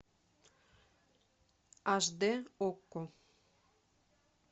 аш д окко